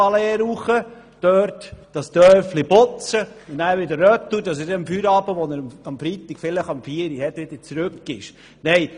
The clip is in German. Dort könnte er das Dörfchen putzen und dann wieder zurückfahren, um zum Feierabend, der am Freitag vielleicht um 16.00 Uhr beginnt, wieder zurück zu sein.